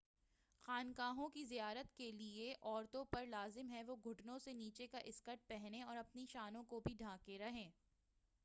خانقاہوں کی زیارت کرنے کے لئے عورتوں پر لازم ہے کہ وہ گھٹنوں سے نیچے کا اسکرٹ پہنیں اور اپنی شانوں کو بھی ڈھانکے رہیں